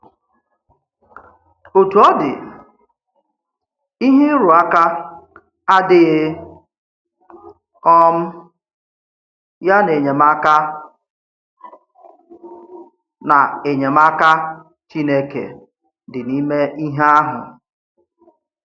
Òtú ọ̀ dị̀, íhè ịrụ̀ ụ̀ká àdíghị̀ um ya na enyémàká na enyémàká Chínēké dị n’ímè íhè àhụ̀.